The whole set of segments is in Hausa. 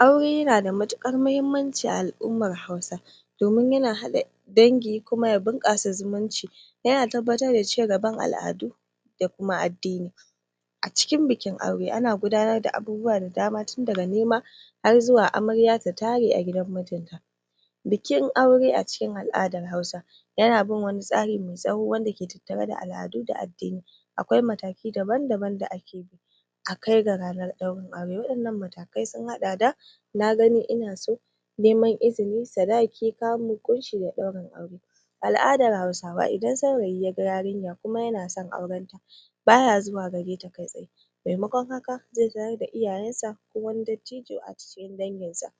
Aure yana da matukar mahimmanci a ai'ummar hausawa domin yana hada dangi ya bunkasa zumunci yana tabbatar da cigaban al'adu da kuma cigaban addini a cikin bikin aure ana gudanar da abubuwa da dam,a tin daga nema har zuwa amarya ta tare a gidan mijinta bikin aure a cikin al'adar hausa yana bin wani tsari mai tsawo wanda yake tattare da al'adu da addini akwai mataki daban-daban da ake bi akai ga matakan daurin aure nagani ina so neman izini sadaki kamu, kunshi da aurin aure ai'adan Hausawaidan saurayi yaga yarinya kuma yana san auranta baya zuwa gareta kai tsaye mai makon haka zai sanar da iyayansa ko wani dadtijo a cikin danginsa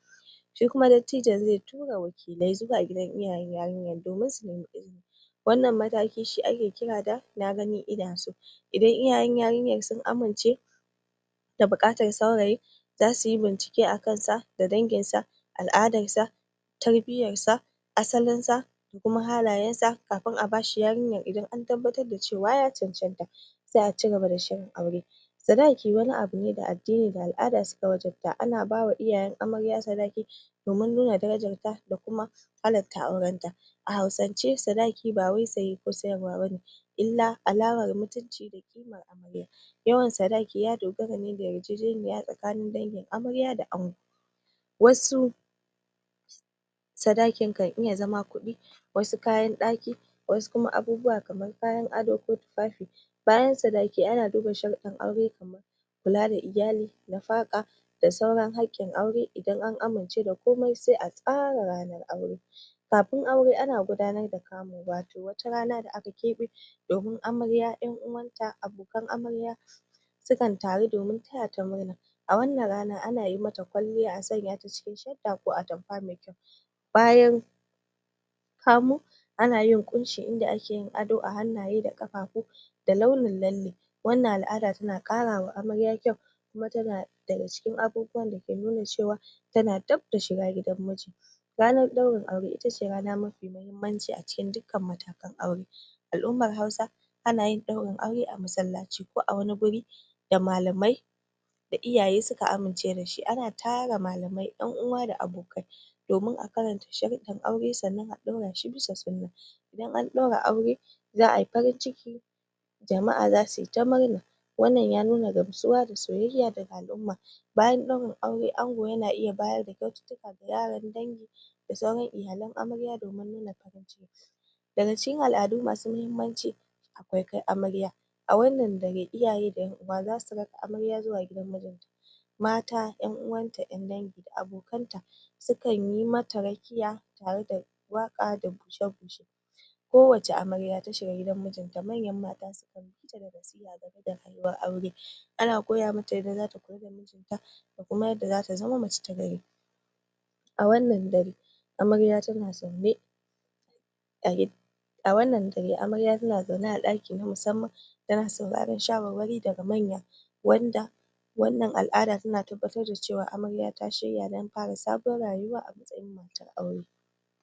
shi kuma daddtijon zai tura wakile zuwa gidan yarinyar domin su nema izini sh[kuma dadtijon zai tura wakile zuwa gidan iyayan yarinyar domin su nemi izini wanna matakin shi akekira da nagani ina so idan iyayen yarinya sun amince da bukatar saurayi za suyi bincike a kan sa da dangin sa al'adarsa tarbiyarsa asalinsa da kuma halayansa kafin a bashi yarinyar idan an tabbatar da cewa ya caccanta sai a cigaba da shirin aure sadaki wani abune da addin[ da al'ada suka wajabta ana bawa iyayan amar ya sadaki omun nuna darajarta da kuma halarta auranta a Hausance sadaki ba wai saye ko sayarwa bane [llah mutunci da kimar amarya yawan sadaki ya dogara da yarjejeniya tsakanin dangin amarya da ango wasu sadakin kan iya zama kudi wasu kayan daki wasu abubuwa kamar kayan ado ko tufafi bayan sadaki ana duba sharadin aure kamar kula da iyali kula da iyali da sauran hakkin aure idan an aamince da komai sai a tsara ranan aure kamun aure ana gudanar da kamu wato watarana da aka kebai domin amarya abokanta domin amarya 'yan'uwanta abokan amarya sukan taru don tayata murna awannan rana ana mata kwalliya asanya mata shadda ko atamfa mai kyau bayan kamu kamu ana yin kunshi ayi ado ahannu da kafafu da launin lalle wannan al'ada tana karawa amarya kyau kuma yana nuna cewa tana dab da shiga gidan muji ranan daurin aure rana ce mafi mahimmanci a matakan daurin aure al'ummar Hausawa suna daurin aure a masallaci ko a wani wuri da malamai da iyaye suka amince da shi ana tara malamai 'yan uwa da abokai domin a karanta sharuddan aure sannan a dorashi bisa sunna idan an daura aure za' ay farin ciki jama'a za su ta murna wannan ya nuna gamsuwa da soyayya daga al'umma bayan daurin aure ango yana bada kyaututtuka dangi da sauran iyalan amarya domi farin cikin daga cikin al'adu masu mahimmancii akwai kai amarya awannan dare iyaye da 'yan'uwa za su raka amarya zuwa gidan mijin ta mata 'yan'' uwanta 'yan dangi da abokanta su kan yi mata rakiya tare da waka da bushe-bushr kowace amarya ta shga gidan mijinta manyan mata sukan ana koyamata rayuwa dangane da rayuwar aure ana koya mata yadda za ta kula da mijin ta da kuma yadda za ta zama mace ta gari a wannan dare amarya tana zaune a wannan dare amarya tana zaune a daki na musammann tana sauraron shawarwari daga manya wanda wannan al'ada tana tabbatar da cewa amarya ta shirya dan fara sabon rayuwa matan aure